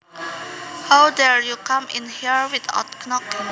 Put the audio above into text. How dare you come in here without knocking